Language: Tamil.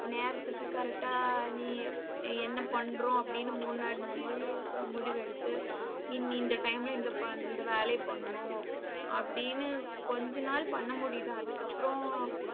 நேரத்துக்கு correct ஆ நீ என்ன பண்றோம் அப்படின்னு மூணு நாலு நாளிலேயே முடிவெடுத்து இனி இந்த time ல இந்த பண்~ இந்த வேலையை பண்ணணும். அப்படின்னு, கொஞ்ச நாள் பண்ணமுடியுது. அதுக்கப்புறம்